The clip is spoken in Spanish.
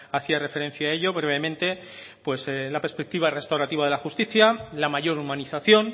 hacía referencia a ello brevemente pues la perspectiva restaurativa de la justicia la mayor humanización